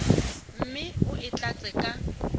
mme o e tlatse ka